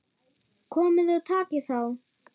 Komiði og takið þá!